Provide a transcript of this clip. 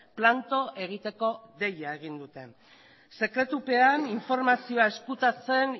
planto egiteko deia egin dute sekretupean informazioa ezkutatzen